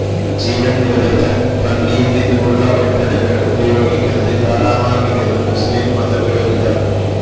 ജീവൻ നിലനിർത്താൻ പന്നിയിൽ നിന്നുമുള്ള ഉൽപ്പന്നങ്ങൾ ഉപയോഗിക്കുന്നത് ഹറാമാകില്ലെന്ന് മുസ്ലീം മതപുരോഹിതൻ